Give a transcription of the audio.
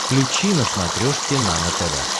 включи на смотрешке нано тв